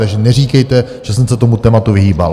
Takže neříkejte, že jsem se tomu tématu vyhýbal.